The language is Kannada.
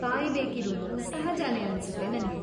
ಕಾಯ್ಬೇಕಿರೋದು ಸಹಜನೇ ಅನ್ಸತ್ತೆ ನಂಗೆ.